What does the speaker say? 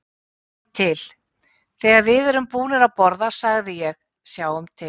Sjáum til, þegar við erum búnir að borða sagði ég, sjáum til